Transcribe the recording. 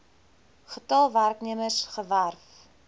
getal werknemers gewerf